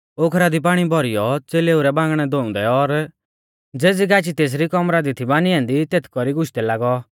ओखरा दी पाणी भौरीऔ च़ेलेऊ रै बांगणै धोउंदै और ज़ेज़ी गाची तेसरी कौमरा दी थी बानी ऐन्दी तेथ कौरी गुशदै लागौ